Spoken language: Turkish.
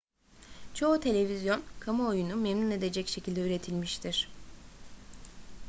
çoğu televizyon kamuoyunu memnun edecek şekilde üretilmiştir